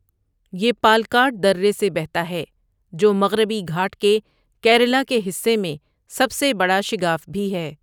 یہ پالکاڈ درے سے بہتا ہے، جو مغربی گھاٹ کے کیرالہ کے حصے میں سب سے بڑا شگاف بھی ہے۔